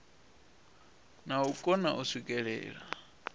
na u kona u swikelela